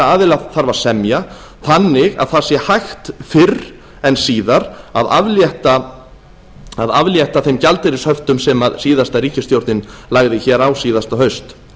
aðila þarf að semja þannig að það sé hægt fyrr en síðar að aflétta þeim gjaldeyrishöftum sem síðasta ríkisstjórn lagði hér á síðasta haust